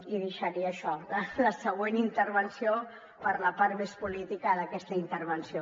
i deixaria això la següent intervenció per a la part més política d’aquesta intervenció